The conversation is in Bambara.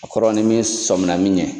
A kɔrɔ n'i min sɔnmina min ɲɛ.